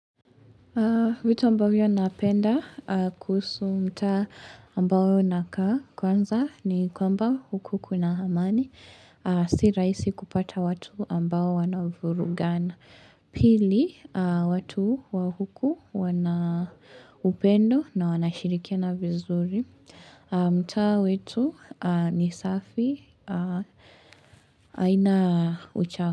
Vitu ambavyo napenda kuhusu mtaa ambao nakaa kwanza ni kwamba huku kuna hamani, si raisi kupata watu ambao wanavurugana. Pili, watu wa huku wana upendo na wanashirikiana vizuri, mtaa wetu ni safi, aina uchafu.